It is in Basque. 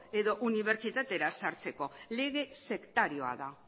edo unibertsitatera sartzeko lege sektarioa da